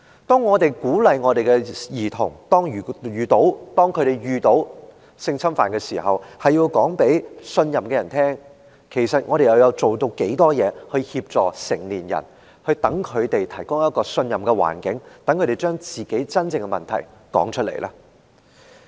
當我們鼓勵兒童一旦遇到性侵犯，便要告訴所信任的人時，其實我們又做了多少事來協助成年人，為他們提供可信任的環境，讓他們把自己真正的經歷說出來呢？